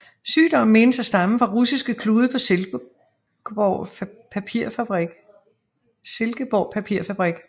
Sygdommen menes at stamme fra russiske klude på Silkeborg Papirfabrik